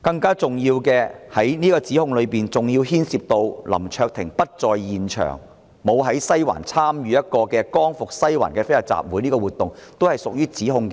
更重要的是，何議員的議案指控林卓廷議員在西環參與"光復西環"的非法集會，但林議員當時不在現場。